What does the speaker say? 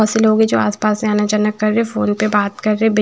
बहुत से लोग हैं जो आसपास से आना जाना कर रहे हैं फोन पे बात कर रहे हैं--